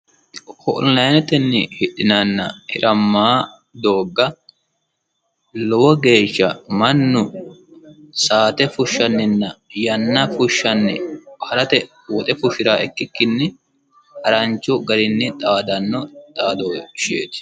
onlinetenni hidhinayiinna hiramayii dooga lowo geesha mannu saate fushshanninna yanna fushshanni harate woxe fushira ikkikkinni haranchu garinni dhaadanno dhadoosheeti